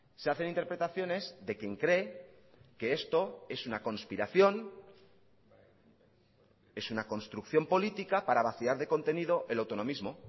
se hacen interpretaciones de quien cree que esto es una conspiración es una construcción política para vaciar de contenido el autonomismo